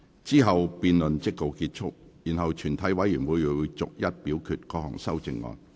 之後辯論即告結束，然後全體委員會會逐一表決各項修正案。